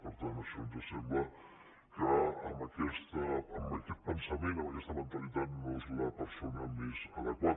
per tant això ens sembla que amb aquest pensament amb aquesta mentalitat no és la persona més adequada